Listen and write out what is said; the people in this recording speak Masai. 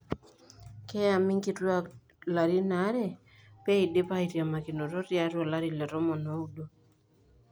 Keyami nkituak larin are peidip aitiamakinoto tiatua olari le tomon oudo.